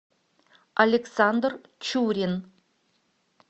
александр чурин